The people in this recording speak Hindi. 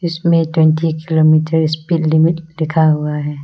इस में ट्वेंटी किलोमीटर स्पीड लिमिट लिखा हुआ है।